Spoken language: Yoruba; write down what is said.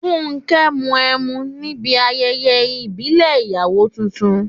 Fúnkẹ́ mu ẹmu níbi ayẹyẹ ìmùlẹ̀ ìyàwó tuntun.